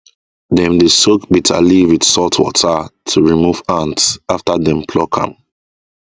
dem dey soak bitter leaf with salt water to remove ant after dem pluck am